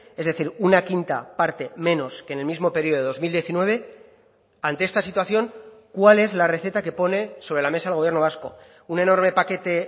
es decir una quinta parte menos que en el mismo periodo de dos mil diecinueve ante esta situación cuál es la receta que pone sobre la mesa el gobierno vasco un enorme paquete